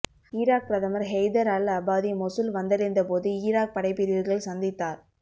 Iraq பிரதமர் Haider al Abadi Mosul வந்தடைந்தபோது Iraq படைப்பிரிவுகளை சந்தித்தார்